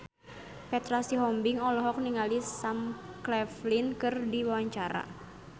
Petra Sihombing olohok ningali Sam Claflin keur diwawancara